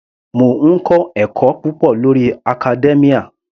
Mò ń kọ́ ẹ̀kọ́ púpọ̀ lórí academia.